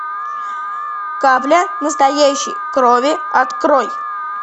капля настоящей крови открой